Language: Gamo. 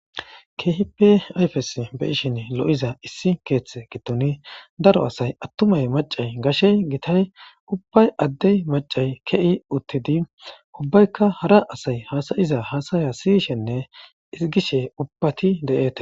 keehipe ayfes beyishin lo7iza issi keeththe gitoni daro asay attumay macay gashey gitay ubbay addey macay ke7i uttidi ubbaykka hara asay haasayiza haasaya siyishenne igishe ubbati de7ete